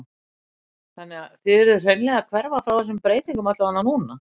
Helga: Þannig að þið urðuð hreinlega að hverfa frá þessum breytingum allavega núna?